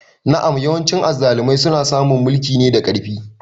Na'am yawancin azzalumai suna samun mulki ne da ƙarfi.